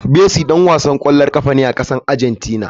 Messi dan wasan kwallon kafa ne a kasar Argentina.